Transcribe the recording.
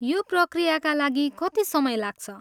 यो पक्रियाका लागि कति समय लाग्छ?